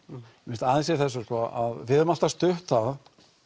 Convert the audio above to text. mér finnst aðeins í þessu sko að við höfum alltaf stutt það